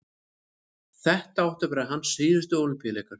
þetta áttu að vera hans síðustu ólympíuleikar